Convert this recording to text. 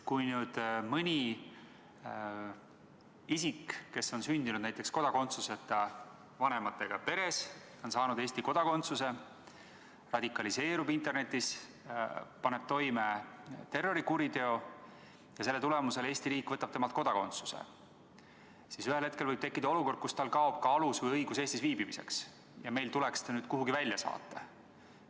Kui mõni isik, kes on sündinud näiteks kodakondsuseta vanematega peres, on saanud Eesti kodakondsuse, radikaliseerub internetis, paneb toime terrorikuriteo ja selle tõttu Eesti riik võtab temalt kodakondsuse, siis ühel hetkel võib tekkida olukord, kus tal kaob õigus Eestis viibimiseks ja meil tuleks ta kuhugi välja saata.